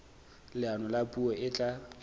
leano la puo e tla